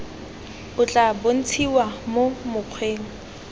o tla bontshiwa mo mokgweng